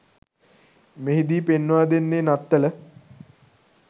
මෙහිදී පෙන්වා දෙන්නේ නත්තල